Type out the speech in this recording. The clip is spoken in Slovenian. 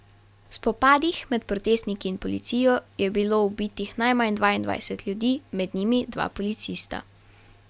V spopadih med protestniki in policijo je bilo ubitih najmanj dvaindvajset ljudi, med njimi dva policista.